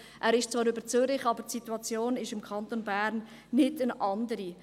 Er ist zwar über Zürich, aber die Situation im Kanton Bern ist nicht eine andere.